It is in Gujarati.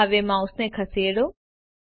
હવે માઉસને ખસેડો